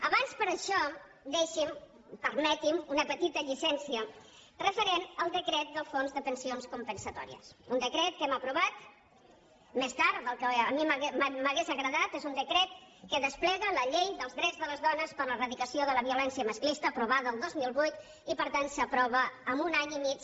abans per això deixi’m permeti’m una petita llicència referent al decret del fons de pensions compensatòries un decret que hem aprovat més tard del que a mi m’hauria agradat és un decret que desplega la llei dels drets de les dones per a l’eradicació de la violència masclista aprovada el dos mil vuit i per tant s’aprova amb un any i mig